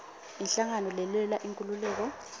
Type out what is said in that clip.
inhlangano lelwela inkhululeko